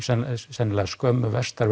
sennilega skömmu vestar